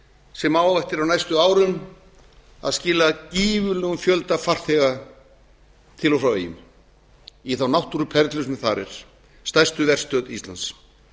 sem á afar á næstu árum að skila gífurlegum fjölga farþega til og frá eyjum í þá náttúruperlu sem þar er stærstu verstöð íslands